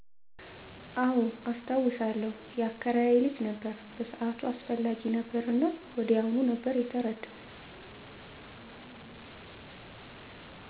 አወ አስታውሳለው ያከራየ ልጅ ነበር በሰአቱ አስፈላጊ ነበር እና ወዲያዉኑ ነበር የተረዳው።